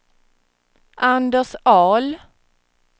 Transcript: Anders Ahl